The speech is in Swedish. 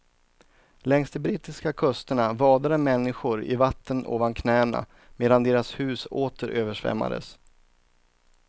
Längs de brittiska kusterna vadade människor i vatten ovan knäna medan deras hus åter översvämmades.